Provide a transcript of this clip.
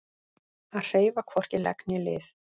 Að hreyfa hvorki legg né lið